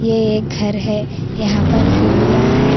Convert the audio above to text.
ये एक घर है यहां पर सीढ़ियां है।